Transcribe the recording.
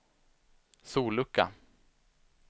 sollucka